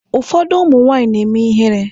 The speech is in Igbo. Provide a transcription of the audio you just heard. Ụfọdụ ụmụ nwaanyị na-eme ihere.